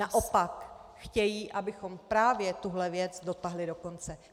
Naopak chtějí, abychom právě tuhle věc dotáhli do konce.